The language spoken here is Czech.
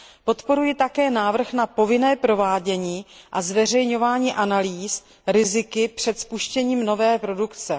Podporuji také návrh na povinné provádění a zveřejňování analýz rizik před spuštěním nové produkce.